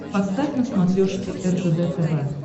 поставь на смотрешке ржд тв